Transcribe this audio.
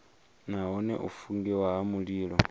nahone u fungiwa ha mililo